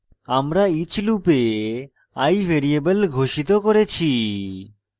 আমরা each loop i variable ঘোষিত করেছি